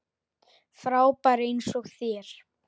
Frábær eins og þér.